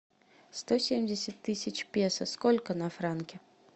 сто семьдесят тысяч песо сколько на франки